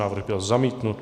Návrh byl zamítnut.